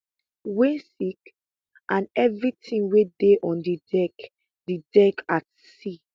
[wey sink] and evritin wey dey on di deck di deck at sea